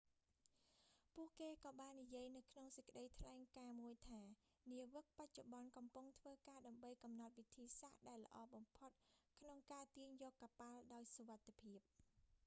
ពួកគេក៏បាននិយាយនៅក្នុងសេចក្តីថ្លែងការណ៍មួយថា នាវិកបច្ចុប្បន្នកំពុងធ្វើការ ដើម្បីកំណត់វិធី សាស្ត្រដែលល្អបំផុតក្នុងការទាញយកកប៉ាល់ដោយសុវត្ថិភាព